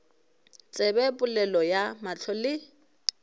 tsebe polelo ya mahlo le